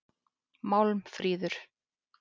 Málmfríður